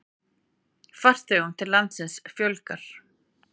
Farþegum til landsins fjölgar